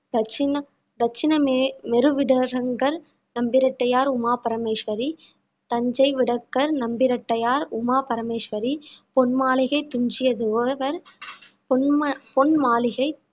தட்சிண~ தட்சிணமேருவிடங்கர் நம்பிராட்டியார் உமா பரமேஸ்வரி, தஞ்சைவிடங்கர் நம்பிராட்டியார் உமா பரமேஸ்வரி, பொன்மாளிகை துஞ்சியதேவர் பொன்மா~ பொன்மாளிகை